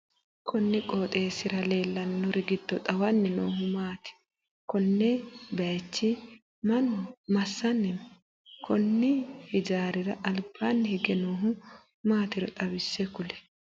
Kunni qooxeesira leelanori gido xawanni noohu maati? Konne bayichi Manu masanni no? Konni hijaarira albaanni hige noohu maatiro xawise kuli